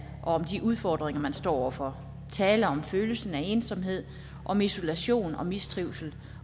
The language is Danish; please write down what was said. og om de udfordringer man står over for tale om følelsen af ensomhed om isolation og mistrivsel